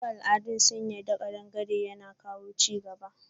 Wasu al'adun sun yarda kadangare yana kawo chigaba.